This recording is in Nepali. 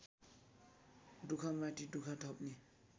दुःखमाथि दुःख थप्ने